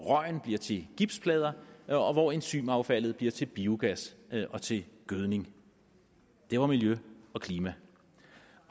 røgen bliver til gipsplader og hvor enzymaffaldet bliver til biogas og til gødning det var miljø og klima